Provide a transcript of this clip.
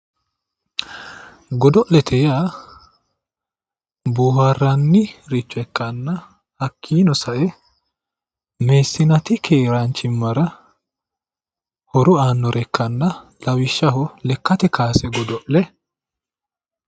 Godio'lete yaa boohaarranniricho ikkanna hakkiinni sae meessaniiti keeraanchimmara horo aannore ikkanna lawishshaho lekkate kaase godo'le